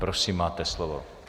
Prosím, máte slovo.